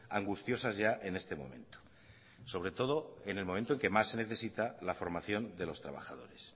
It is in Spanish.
angustiosas ya en este momento sobre todo en el momento en que más se necesita la formación de los trabajadores